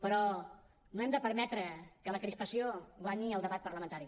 però no hem de permetre que la crispació guanyi el debat parlamentari